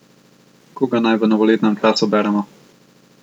Koga naj v novoletnem času beremo?